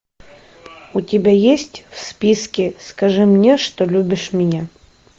у тебя есть в списке скажи мне что любишь меня